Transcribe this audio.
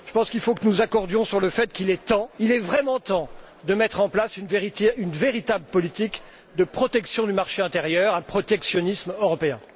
Je pense qu'il faut que nous nous accordions sur le fait qu'il est vraiment temps de mettre en place une véritable politique de protection du marché intérieur un protectionnisme européen.